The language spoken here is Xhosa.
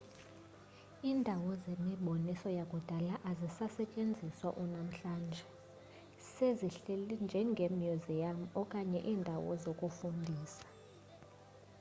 indawo zemiboniso yakudala azisasetyenziswa unamhlanje sezihleli njengemyuziyam okanye iindawo zokufundisa